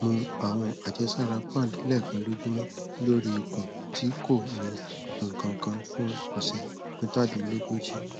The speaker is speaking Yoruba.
mu àwọn àjẹsára pand lẹẹkan lójúmọ lórí ikun tí kò ní nǹkan kan fún ọsẹ mẹtàdínlógójì